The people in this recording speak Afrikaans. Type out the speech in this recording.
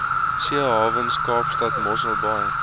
seehawens kaapstad mosselbaai